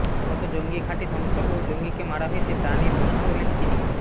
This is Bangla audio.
কত জঙ্গি ঘাঁটি ধ্বংস ও জঙ্গিকে মারা হয়েছে তা নিয়ে প্রশ্ন তোলেন তিনি